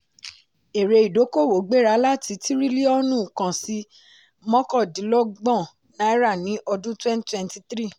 èrè ìdókòwò gbéra láti tírílíọ̀nù kan sí mọ́kàndínlọ́gbọ̀n náírà ní ọdún twenty twenty three.